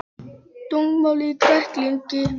Þungmálmar í kræklingi